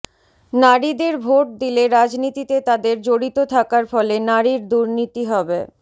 নারীদের ভোট দিলে রাজনীতিতে তাদের জড়িত থাকার ফলে নারীর দুর্নীতি হবে